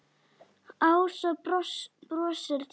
Ása brosir til hans.